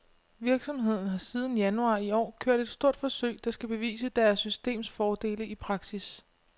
Virksomheden har siden januar i år kørt et stort forsøg, der skal bevise deres systems fordele i praksis.